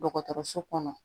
Dɔgɔtɔrɔso kɔnɔ